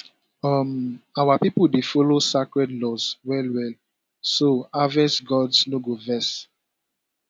um our pipo dey follow sacred laws well well so harvest gods no go vex